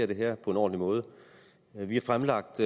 det her på en ordentlig måde vi har fremlagt